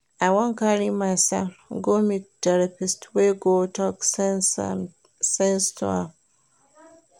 I wan carry my son go meet therapist wey go talk sense to am